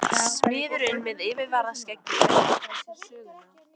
Smiðurinn með yfirskeggið leggur frá sér sögina.